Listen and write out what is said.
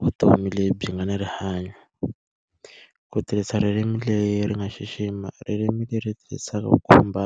vutomi lebyi nga na rihanyo. Ku tirhisa ririmi leri nga xixima, ririmi leri tirhisaka ku khumba